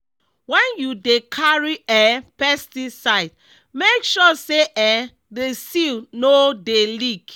when you dey carry um pesticide make sure say um the seal no dey leak.